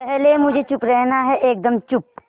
पहले मुझे चुप रहना है एकदम चुप